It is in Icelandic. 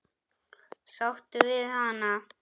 Sáttur við hana?